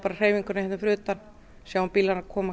hreyfinguna hérna fyrir utan sjáum bílana koma